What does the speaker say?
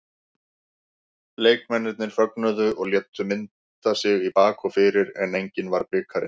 Leikmennirnir fögnuðu og létu mynda sig í bak og fyrir en enginn var bikarinn.